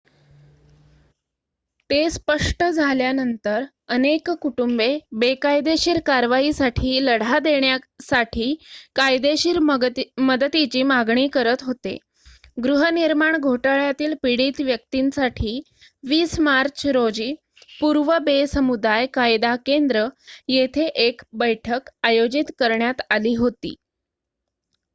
ते स्पष्ट झाल्यानंतर अनेक कुटुंबे बेकायदेशीर कारवाईसाठी लढा देण्यासाठी कायदेशीर मदतीची मागणी करत होते गृहनिर्माण घोटाळ्यातील पीडित व्यक्तींसाठी 20 मार्च रोजी पूर्व बे समुदाय कायदा केंद्र येथे एक बैठक आयोजित करण्यात आली होती